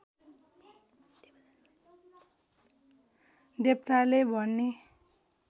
देवताले भने